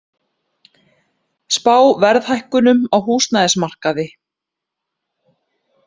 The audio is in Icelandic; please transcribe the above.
Spá verðhækkunum á húsnæðismarkaði